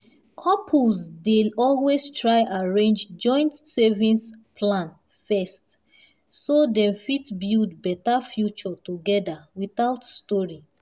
couples dey always try arrange joint savings plan first so dem fit build better future together without story.